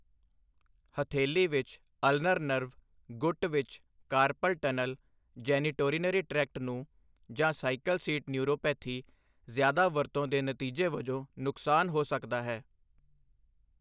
ਹਥੇਲੀ ਵਿੱਚ ulnar nerve, ਗੁੱਟ ਵਿੱਚ ਕਾਰਪਲ ਟਨਲ, ਜੈਨੀਟੋਰੀਨਰੀ ਟ੍ਰੈਕਟ ਨੂੰ ਜਾਂ ਸਾਈਕਲ ਸੀਟ ਨਿਊਰੋਪੈਥੀ ਜ਼ਿਆਦਾ ਵਰਤੋਂ ਦੇ ਨਤੀਜੇ ਵਜੋਂ ਨੁਕਸਾਨ ਹੋ ਸਕਦਾ ਹੈ।